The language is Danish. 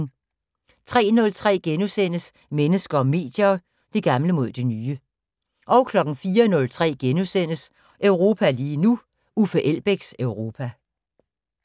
03:03: Mennesker og medier: Det gamle mod det nye * 04:03: Europa lige nu: Uffe Elbæks Europa *